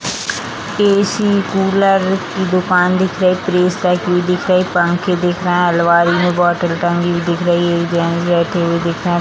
AC. Cooler की दुकान दिख रही प्रेस दिख रही पंखे दिख रहे हैं अलमारियों में बोतल टंगी हुई दिख रही है जेंट्स बैठें हुए दिख रहे --